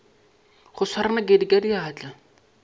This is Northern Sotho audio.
go swara nakedi ka diatla